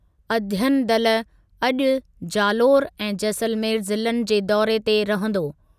अध्ययन दल अॼु जालोर ऐं जैसलमेर ज़िलनि जे दौरे ते रहंदो।